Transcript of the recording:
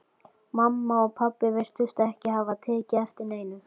Mamma og pabbi virtust ekki hafa tekið eftir neinu.